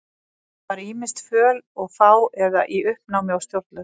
Ég var ýmist föl og fá eða í uppnámi og stjórnlaus.